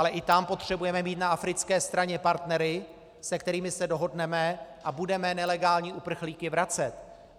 Ale i tam potřebujeme mít na africké straně partnery, se kterými se dohodneme, a budeme nelegální uprchlíky vracet.